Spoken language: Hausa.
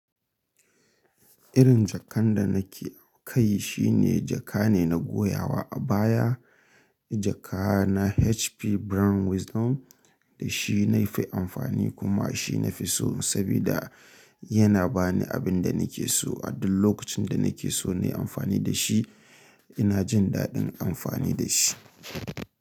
Irin jakar da nake kai shi ne jaka ne na goyawa a baya. Jaka na HP Brown Wisdom da shi na yi fi amfani kuma shi na fi so saboda yana ba ni abin da nake so a duk lokacin da nake so na yi amfani da shi. Ina jin daɗin amfani da shi.